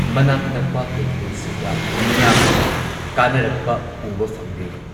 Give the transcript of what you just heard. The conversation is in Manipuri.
ꯃꯅꯥꯛ ꯅꯛꯄ ꯀꯩꯊꯦꯜꯁꯤꯡꯗ ꯃꯤꯌꯥꯝꯅ ꯀꯥꯅꯔꯛꯄ ꯎꯕ ꯐꯪꯂꯦ꯫